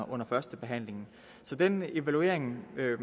under førstebehandlingen så den evaluering ville